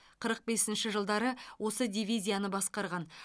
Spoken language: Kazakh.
қырық бесінші жылдары осы дивизияны басқарған